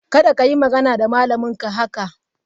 Kada ka yi magana da malaminka haka!